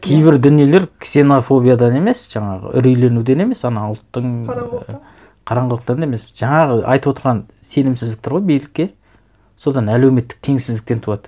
кейбір дүниелер ксенофобиядан емес жаңағы үрейленуден емес ана ұлттың қараңғылықтан қараңғылықтан емес жаңағы айтып отырған сенімсіздік тұр ғой билікке содан әлеуметтік теңсіздіктен туады